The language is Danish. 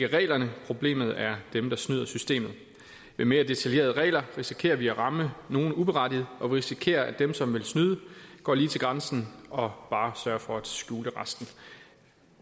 reglerne problemet er dem der snyder systemet med mere detaljerede regler risikerer vi at ramme nogen uberettiget og vi risikerer at dem som vil snyde går lige til grænsen og bare sørger for at skjule resten